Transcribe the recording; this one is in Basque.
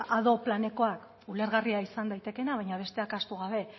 ado planekoak ulergarria izan daitekeena baina besteak ahaztu gabe